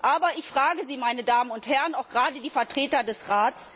Aber ich frage Sie, meine Damen und Herren auch gerade die Vertreter des Rates